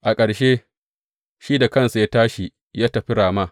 A ƙarshe, shi da kansa ya tashi ya tafi Rama.